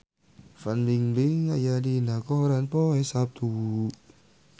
Fan Bingbing aya dina koran poe Saptu